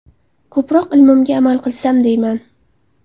Ko‘proq ilmimga amal qilsam deyman.